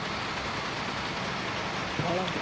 போகலாம் bro